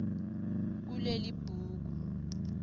kulelibhuku